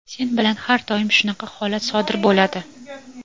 Sen bilan har doim shunaqa holat sodir bo‘ladi.